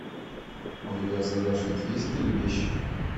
у тебя в загашнике есть перебещик